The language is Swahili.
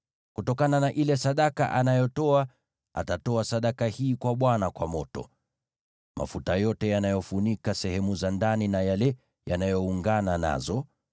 Kutokana na ile sadaka anayotoa, atatoa sadaka hii kwa Bwana kwa moto: mafuta yote yanayofunika sehemu za ndani na yale yanayoungana nazo,